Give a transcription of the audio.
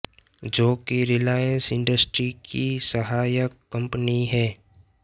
जो कि रिलायंस इंडस्ट्री की सहायक कंपनी है